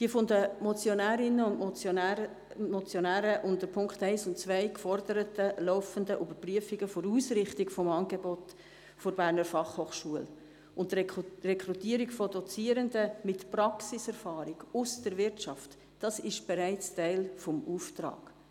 Die von den Motionärinnen und Motionären unter den Punkten 1 und 2 geforderten laufenden Überprüfungen der Ausrichtung des Angebots der BFH und die Rekrutierung von Dozierenden mit Praxiserfahrung aus der Wirtschaft ist bereits Teil des Auftrags.